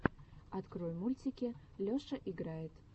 открой мультики леша играет